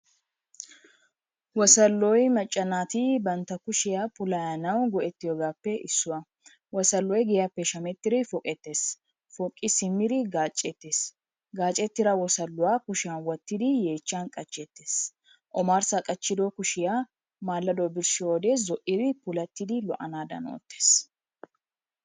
Wosolloyi macca naati bantta kushiya puulayanawu go'ettiyobaappe issuwa. Wosolloyi giyaappe shamettidi poqettes. Poqqi simmidi gaacceettes. Gaacettida wosolluwa kushiyan wottidi yeechchan qachcheettes. Omarssa qachchido kushiya maallado birshshiyode zo'idi puulattidi lo'anaadan oottes.